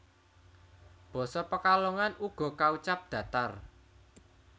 Basa Pekalongan uga kaucap datar